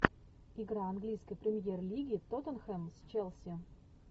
игра английской премьер лиги тоттенхэм с челси